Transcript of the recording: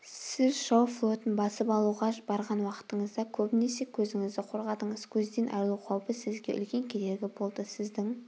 сіз жау флотын басып алуға барған уақытыңызда көбінесе көзіңізді қорғадыңыз көзден айрылу қаупі сізге үлкен кедергі болды сіздің